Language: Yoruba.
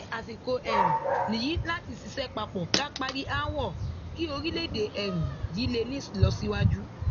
àsìkò um nìyí láti ṣiṣẹ papọ ká parí aáwọ kí orílẹèdè um yìí lè ní ìlọsíwájú